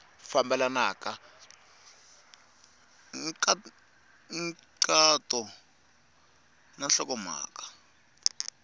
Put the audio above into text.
fambelena hi nkhaqato na nhlokomhaka